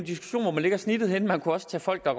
man lægger snittet henne man kunne også tage folk der